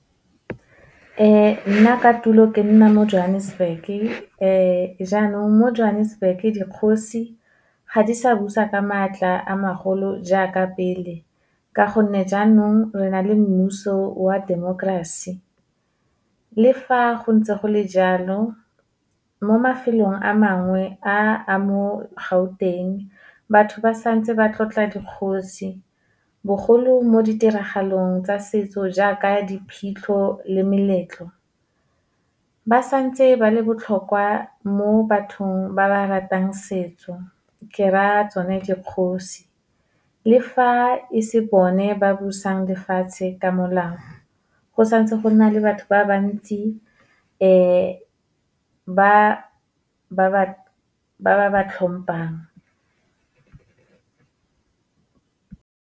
Nna ka tulo ke nna mo Johannesburg-e, jaanong mo Johannesburg-e, dikgosi ga di sa busa ka maatla a magolo jaaka pele, ka gonne jaanong re na le mmuso wa temokerasi. Le fa go ntse go le jalo, mo mafelong a mangwe a a mo Gauteng batho ba santse ba tlotla dikgosi, bogolo mo ditiragalong tsa setso jaaka diphitlho le meletlo. Ba santse ba le botlhokwa mo bathong ba ba ratang setso, ke raya tsone dikgosi. Le fa e se bone ba busang lefatshe ka molao, go santse gona le batho ba ba ntsi ba ba hlomphang.